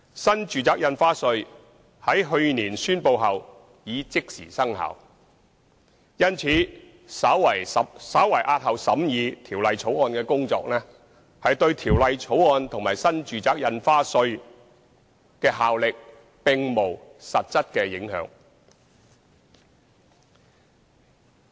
新住宅印花稅在去年宣布後已即時生效；因此，稍為押後《條例草案》的審議工作，對《條例草案》和新住宅印花稅的效力並無實質影響。